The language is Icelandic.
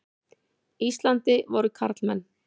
Íslandi voru karlmenn.